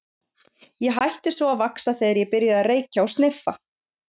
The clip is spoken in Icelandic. Ég hætti svo að vaxa þegar ég byrjaði að reykja og sniffa.